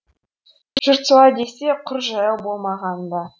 жұрт солай десе құр жаяу болмағаны да